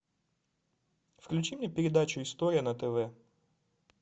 включи мне передачу история на тв